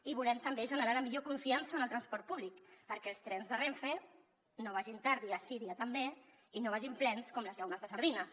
i volem també generar la millor confiança en el transport públic perquè els trens de renfe no vagin tard dia sí dia també i no vagin plens com les llaunes de sardines